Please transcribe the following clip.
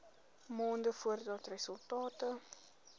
maande voordat resultate